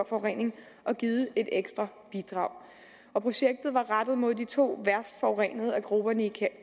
forurening og givet et ekstra bidrag og projektet var rettet mod de to værst forurenede af grupperne i